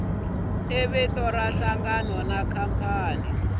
i vito ra nhlangano khampani